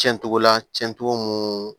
Cɛncogo la cɛn cogo mun